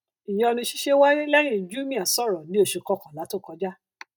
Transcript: ìyọni ṣiṣẹ wáyé lẹyìn jumia sọrọ ní oṣù kọkànlá tó kọjá